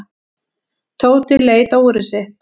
Tóti leit á úrið sitt.